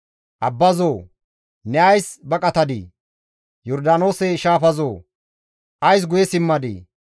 Abbazoo! Ne ays baqatadii? Yordaanoose shaafazoo! Ays guye simmadii?